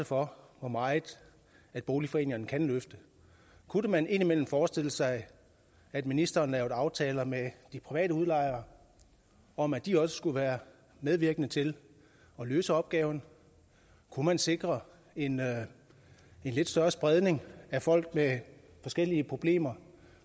for hvor meget boligforeningerne kan løfte kunne man indimellem forestille sig at ministeren lavede aftaler med de private udlejere om at de også skulle være medvirkende til at løse opgaven kunne man sikre en en lidt større spredning af folk med forskellige problemer